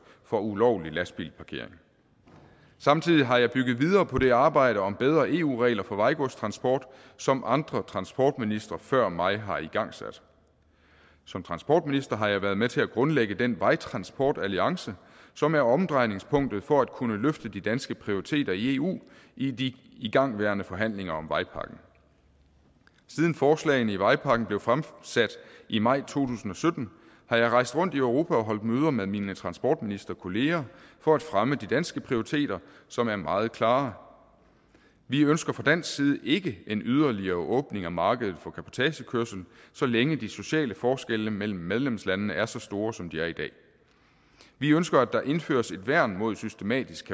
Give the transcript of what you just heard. for ulovlig lastbilparkering samtidig har jeg bygget videre på det arbejde om bedre eu regler for vejgodstransport som andre transportministre før mig har igangsat som transportminister har jeg været med til at grundlægge den vejtransportalliance som er omdrejningspunktet for at kunne løfte de danske prioriteter i eu i de igangværende forhandlinger om vejpakken siden forslagene i vejpakken blev fremsat i maj tusind og sytten har jeg rejst rundt i europa og holdt møder med mine transportministerkolleger for at fremme de danske prioriteter som er meget klare vi ønsker fra dansk side ikke en yderligere åbning af markedet for cabotagekørsel så længe de sociale forskelle mellem medlemslandene er så store som de er i dag vi ønsker at der indføres et værn mod systematisk